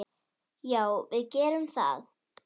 Já, við gerum það.